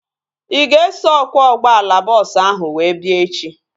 Ị ga-eso ọkwọ ụgbọala bọọsu ahu wee bịa echi?